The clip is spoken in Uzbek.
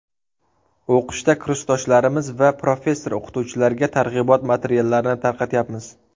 O‘qishda kursdoshlarimiz va professor-o‘qituvchilarga targ‘ibot materiallarini tarqatyapmiz.